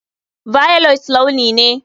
Violet launi ne.